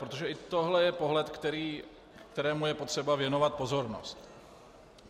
Protože i tohle je pohled, kterému je potřeba věnovat pozornost.